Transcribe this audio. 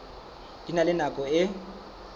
di na le nako e